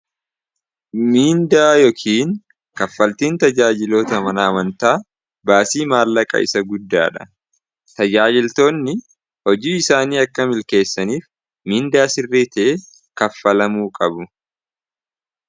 Miindaa yookiin kaffaltiin tajaajiloota manaamantaa baasii maallaqa isa guddaadha tayaajiltoonni hojii isaanii akka milkeessaniif miindaa sirrii tae kaffalamuu qabu.